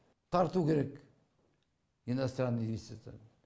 тарту керек иностранный инвестиция